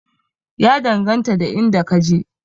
Ya danganta da inda ka je